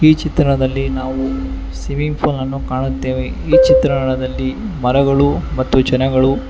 ಈ ಚಿತ್ರಣದಲ್ಲಿ ನಾವು ಸಿಮಿಂಗ್ ಫೂಲನ್ನು ಕಾಣುತ್ತೇವೆ ಈ ಚಿತ್ರಣದಲ್ಲಿ ಮರಗಳು ಮತ್ತು ಜನಗಳು--